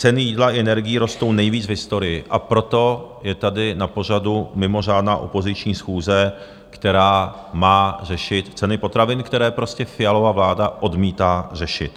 Ceny jídla i energií rostou nejvíc v historii, a proto je tady na pořadu mimořádná opoziční schůze, která má řešit ceny potravin, které prostě Fialova vláda odmítá řešit.